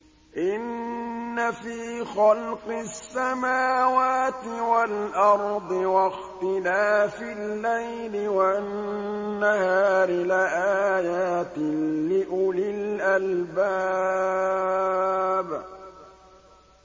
إِنَّ فِي خَلْقِ السَّمَاوَاتِ وَالْأَرْضِ وَاخْتِلَافِ اللَّيْلِ وَالنَّهَارِ لَآيَاتٍ لِّأُولِي الْأَلْبَابِ